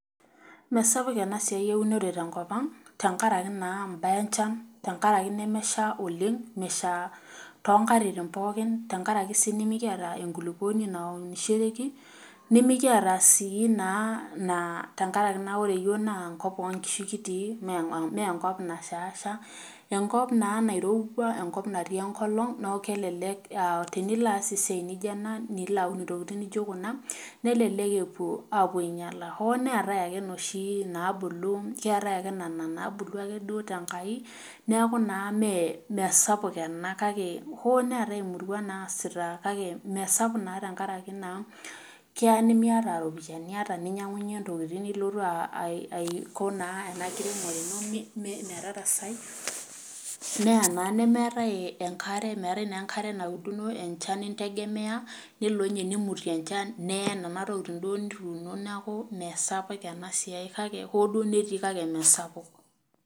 Mesapuk enasiai eunore tenkop ang',tenkaraki naa imbaa enchan, tenkaraki nemesha oleng',mesha tonkatitin pookin, tenkaraki si nimikiata enkulukuoni naunishoreki, nimikiata si naa ina, tenkaraki na ore yiok naa enkop onkishu kitii, menkop nashaasha, enkop naa nairowua, enkop natii enkolong, neku kelelek tenilaas esiai naijo ena, nilo aun intokiting nijo kuna, kelelek epuo apuo ainyala. Hoo neetae ake inoshi naabulu, keetae ake nena nabulu ake duo tenkai, neeku naa meesapuk ena, kake, ho neetae imurua naasita kake mesapuk na tenkaraki naa, kea nimiata ropiyaiani ninyang'unye intokiting nilotu ah aiko naa ena kiremore ino metarasai, neya naa nemeetae enkare, meetae naa enkare nauduno, enchan integemea, nelo inye nimutie enchan neye nena tokiting duo nituuno, neeku mesapuk enasiai kake, ho duo netii kake mesapuk.